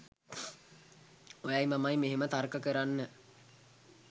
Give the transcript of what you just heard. ඔයයි මමයි මෙහෙම තර්ක කරන්න